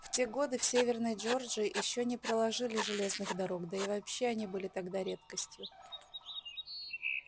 в те годы в северной джорджии ещё не проложили железных дорог да и вообще они были тогда редкостью